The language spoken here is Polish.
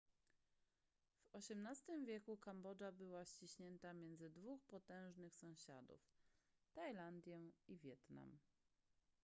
w xviii wieku kambodża była ściśnięta między dwóch potężnych sąsiadów tajlandię i wietnam